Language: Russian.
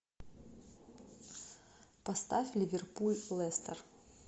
поставь ливерпуль лестер